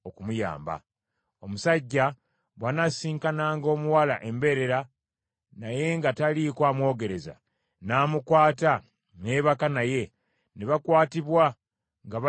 Omusajja bw’anasisinkananga omuwala embeerera naye nga taliiko amwogereza, n’amukwata ne yeebaka naye, ne bakwatibwa nga bali mu kikolwa ekyo,